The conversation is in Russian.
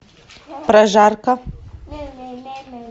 прожарка